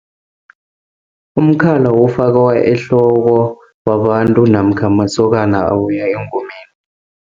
Umkhala ofakwa ehloko, babantu, namkha masokana abuya engomeni.